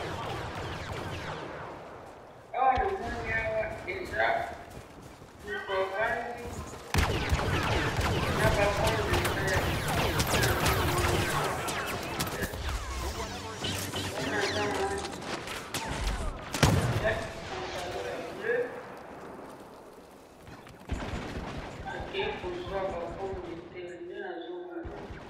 awa namoni awa eza mutu avandi na ba pomme de terre, nde nazo mona, eza na ba pomme de terre, mutu wana aza mwasi, alati pantalon ya bleu, akeyi ko zwa ba pomme de terre, nde nazo mona